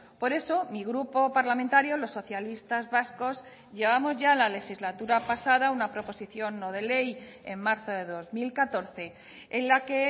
por eso mi grupo parlamentario los socialistas vascos llevamos ya la legislatura pasada una proposición no de ley en marzo de dos mil catorce en la que